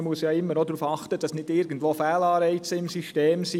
Man muss darauf achten, dass nicht irgendwo Fehlanreize im System sind.